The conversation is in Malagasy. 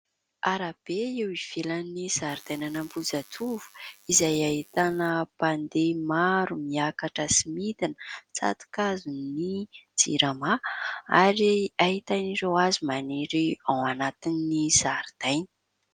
Arabe eo ivelan'ny zaridaina ny Ambohijatovo izay ahitana mpandeha maro miakatra sy midina, tsato-kazon'ny jirama ary ahitana ireo hazo maniry ao anatin'ny zaridaina.